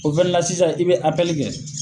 O fɛnɛ la sisan i be kɛ.